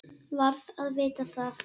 Varð að vita það.